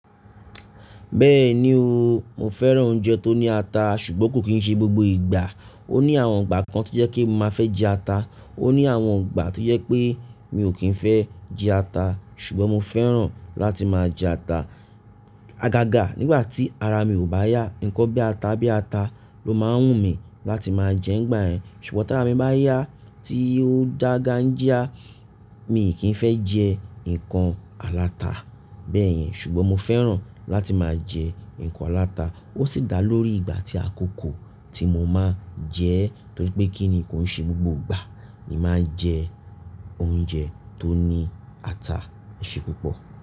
Bẹ́ẹ̀ni o, mo fẹ́ràn oúnjẹ tó ní ata ṣùgbọ́n kò kí ń ṣe gbogbo ìgbà. Ó ní àwọn ìgbà kan tó jẹ́ kí mo má fẹ́ jẹ ata, ó ní àwọn ìgbà tó jẹ́ pé mi ò kí ń fẹ́ jẹ ata ṣùgbọ́n mo fẹ́ràn láti máa jẹ ata. Agaga nígbà tí ara mi ò bá yá, nǹkan bí ata bí ata ló máa ń wù mí láti máa jẹ nígbà yẹ́n. Ṣùgbọ́n tí ara mi bá yá tí ó ń dà gan-an jia, mi kì í fẹ́ jẹ nǹkan aláta bẹ́ẹ̀ yẹn. Ṣùgbọ́n mo fẹ́ràn láti máa jẹ nǹkan aláta. Ó sì dà lórí ìgbà tí àkókò tí mo máa jẹ torí pé kí ni ko ń ṣe gbogbo ìgbà ni máa ń jẹ oúnjẹ tó ní ata ṣe púpọ̀.